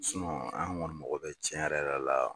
an kɔni mago bɛ tiɲɛ yɛrɛ yɛrɛ la